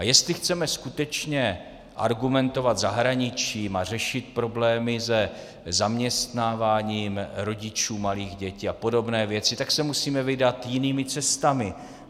A jestli chceme skutečně argumentovat zahraničím a řešit problémy se zaměstnáváním rodičů malých dětí a podobné věci, tak se musíme vydat jinými cestami.